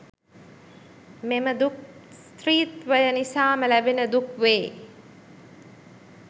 මෙම දුක් ස්ත්‍රීත්වය නිසාම ලැබෙන දුක් වේ.